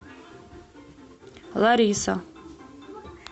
лариса